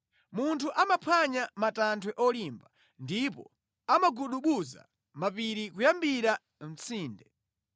Munthu amaphwanya matanthwe olimba, ndipo amagubuduza mapiri kuyambira mʼtsinde.